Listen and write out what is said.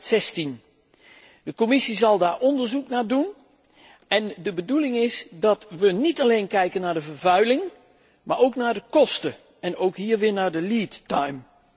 2016. De Commissie zal daar onderzoek naar doen en de bedoeling is dat we niet alleen kijken naar de vervuiling, maar ook naar de kosten, en ook hier weer naar de lead time